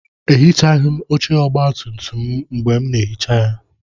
Ehichaghị m oche ọgbatumtum m mgbe m na-ehicha ya.